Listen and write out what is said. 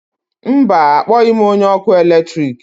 mba, akpọghị m onye ọkụ eletrik